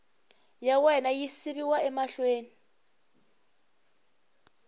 ya wena yi yisiwa mahlweni